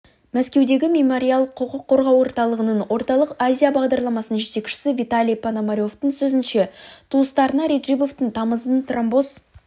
мәскеудегі мемориал құқық қорғау орталығының орталық азия бағдарламасының жетекшісі виталий пономаревтің сөзінше туыстарына реджебовтің тамыздың тромбоз